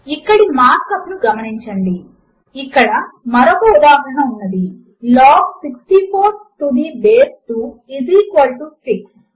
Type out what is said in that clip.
ఇక్కడి mark up ను గమనించండి ఇక్కడ మరొక ఉదాహరణ ఉన్నది160 log 64 to the base 2 is equal to 6